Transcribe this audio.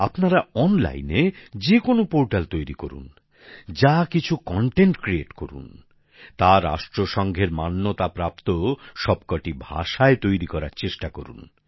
আপনারা অনলাইনে যে কোনও পোর্টাল তৈরি করুন যা কিছু বিষয়বস্তু রচনা করুন করুন তা রাষ্ট্রসঙ্ঘের মান্যতা প্রাপ্ত সবকটি ভাষায় তৈরি করার চেষ্টা করুন